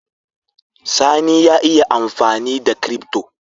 Sani ya iya amfanida crypto